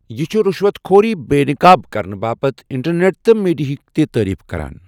یہِ چھُ رُشوَت خوری بے نقاب کرنہٕ باپتھ انٹرنیٹ تہٕ میڈیاہٕچ تہِ تٔعریٖف کران۔